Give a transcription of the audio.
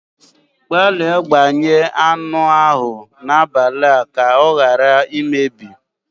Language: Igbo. Gbalịa gbanye anụ ahụ n'abalị a ka ọ ghara imebi